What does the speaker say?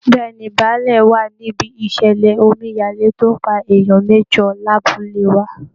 Bẹ́ẹ̀ ni, bàálẹ̀ wà níbí ìṣẹ̀lẹ̀ omíyalé tó pa èèyan mẹ́jọ lábúlé wa